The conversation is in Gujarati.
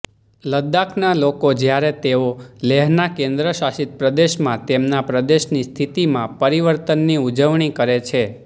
લદ્દાખના લોકો જ્યારે તેઓ લેહના કેન્દ્ર શાસિત પ્રદેશમાં તેમના પ્રદેશની સ્થિતિમાં પરિવર્તનની ઉજવણી કરે છે